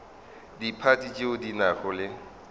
diphathi tšeo di nago le